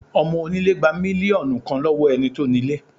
Ọmọ onílé gba mílíọ̀nù kan lọ́wọ́ ẹni tó ní lé